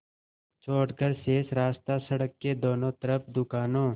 छोड़कर शेष रास्ता सड़क के दोनों तरफ़ दुकानों